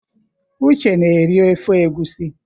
Uche na-eri ofe egwusi.